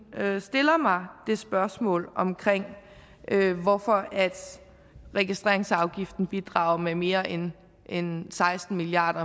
stiller mig det spørgsmål hvorfor registreringsafgiften bidrager med mere end end seksten milliard